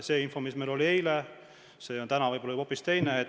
See info, mis meil oli eile, on täna võib-olla hoopis teine.